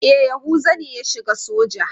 E, Yahuza ne ya shiga soja.